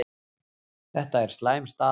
Þetta er slæm staða